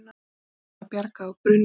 Hlébarða bjargað úr brunni